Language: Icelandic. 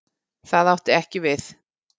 Það átti ekki við.